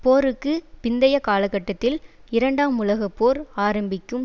போருக்கு பிந்தைய காலகட்டத்தில் இரண்டாம் உலக போர் ஆரம்பிக்கும்